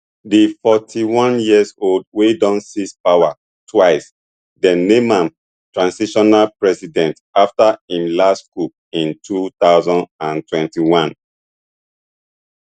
di forty-oneyearold wey don seize power twice dem name am transitional president afta im last coup in two thousand and twenty-one